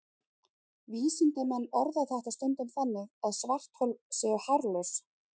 Vísindamenn orða þetta stundum þannig að svarthol séu hárlaus!